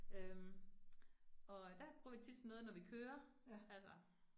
Øh og øh der bruger vi tit som noget, når vi kører. Altså